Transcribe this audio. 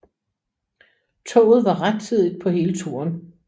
Toget var rettidigt på hele turen